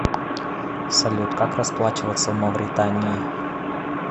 салют как расплачиваться в мавритании